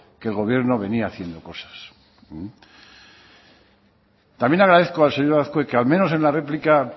que el gobierno venía haciendo cosas también agradezco al señor azkue que al menos en la réplica